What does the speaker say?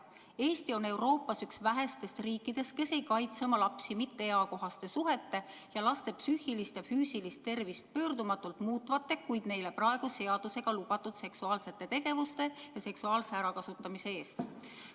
Eesti on Euroopas üks vähestest riikidest, kes ei kaitse oma lapsi mitteeakohaste suhete eest ning laste psüühilist ja füüsilist tervist pöördumatult muutvate, kuid neile praeguse seadusega lubatud seksuaalsete tegevuste ja seksuaalse ärakasutamise eest.